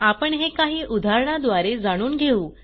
आपण हे काही उदाहरणाद्वारे जाणून घेऊ